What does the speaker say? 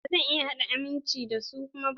Ba zan iya amince da su kuma ba.